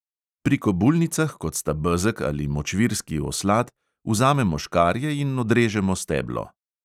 Pri kobulnicah, kot sta bezeg ali močvirski oslad, vzamemo škarje in odrežemo steblo.